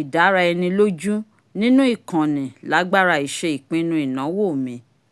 ìdárà ẹni lójú ninu ikanni lágbára iṣe ipinnu ìnáwó mi